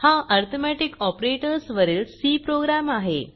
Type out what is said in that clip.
हा arithmetic operators वरील C program आहे